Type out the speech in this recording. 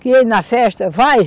Queria ir na festa, vai!